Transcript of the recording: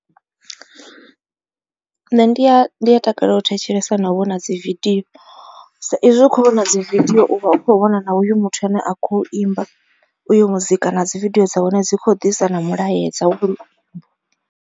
Nṋe ndi a ndi a takalela u thetshelesa nau vhona dzi video sa izwi u kho vhona dzi video u vha u kho vhona na oyu muthu ane a kho imba uyo muzika na dzi video dza hone dzi kho disa na mulaedza.